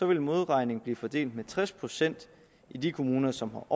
vil modregningen blive fordelt med tres procent i de kommuner som